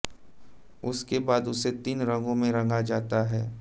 इसके बाद उसे तीन रंगो में रंगा जाता है